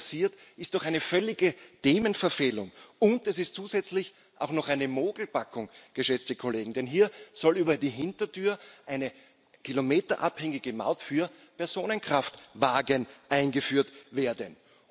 Das, was hier passiert, ist doch eine völlige Themenverfehlung, und es ist zusätzlich auch noch eine Mogelpackung, geschätzte Kollegen, denn hier soll über die Hintertür eine kilometerabhängige Maut für Personenkraftwagen eingeführt werden.